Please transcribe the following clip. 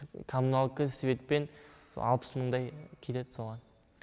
коммуналка светпен алпыс мыңдай кетеді соған